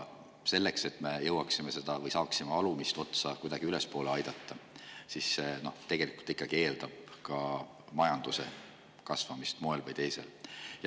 See, et me jõuaksime või saaksime alumist otsa kuidagi ülespoole aidata, eeldab ikkagi majanduse kasvamist moel või teisel.